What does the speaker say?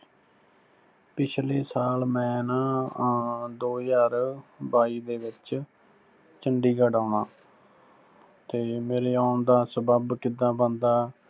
ਪਿਛਲੇ ਸਾਲ ਮੈਂ ਨਾ ਅੰ ਦੋ ਹਜ਼ਾਰ ਬਾਈ ਦੇ ਵਿੱਚ ਚੰਡੀਗੜ੍ਹ ਆਉਣਾ, ਤੇ ਮੇਰੇ ਆਉਣ ਦਾ ਸਬੱਬ ਕਿੱਦਾਂ ਬਣਦਾ,